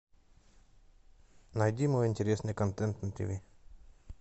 найди мой интересный контент на тв